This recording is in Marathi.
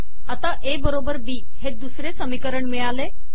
आता ए बरोबर बी हे 2 दुसरे समीकरण मिळाले